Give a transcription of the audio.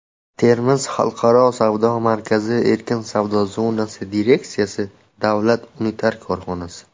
"Termiz xalqaro savdo markazi" erkin savdo zonasi direksiyasi" davlat unitar korxonasi.